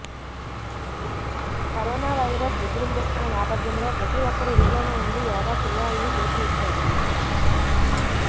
corona virus విజృంభిస్తున్న నేపథ్యంలో ప్రతి ఒక్కరు ఇంట్లోనే ఉండి యోగా చేయాలని పిలుపునిచ్చారు